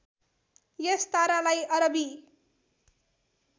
यस तारालाई अरबी